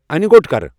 اَنِہ گۄٹ کر ۔